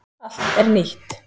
Allt er nýtt.